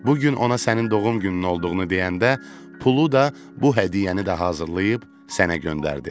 Bu gün ona sənin doğum günün olduğunu deyəndə pulu da, bu hədiyyəni də hazırlayıb sənə göndərdi.